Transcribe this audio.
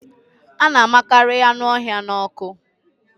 A na amịkarị anụ ọhịa n'ọkụ